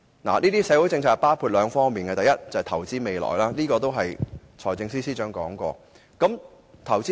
有關社會政策包括兩方面：第一，投資未來，財政司司長亦曾提述這點。